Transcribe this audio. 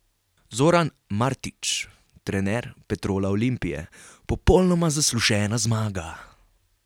Zoran Martić, trener Petrola Olimpije: "Popolnoma zaslužena zmaga.